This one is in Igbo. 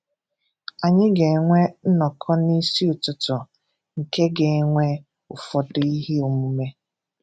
Anyị ga-enwe nnọkọ n’isi ụtụtụ nke ga-enwe ụfọdụ ihe omume.